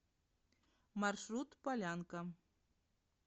маршрут полянка